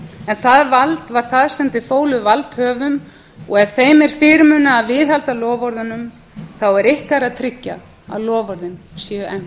en það vald var það sem þið fóluð valdhöfum og ef þeim er fyrirmunað að viðhalda loforðunum þá er ykkar að tryggja að loforðin séu